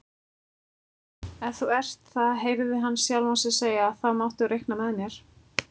Ef þú ert það heyrði hann sjálfan sig segja, þá máttu reikna með mér